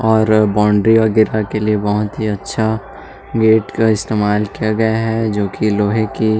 और बाउंड्री वगेरा बहुत अच्छा गेट इस्तमाल किया गया है जोकी लोहे की--